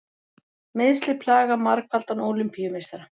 Meiðsli plaga margfaldan Ólympíumeistara